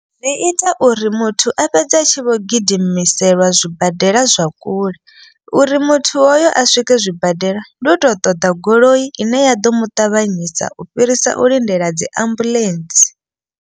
Zwi ita uri muthu a fhedze a tshi vho gidimiselwa zwibadela zwa kule. Uri muthu hoyo a swike zwibadela ndi u to ṱoḓa goloi ine ya ḓo muṱavhanyisa u fhirisa u lindela dzi ambulentsi.